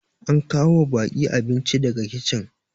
an kawo wa baki abinci daga kicin